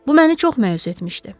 Bu məni çox məyus etmişdi.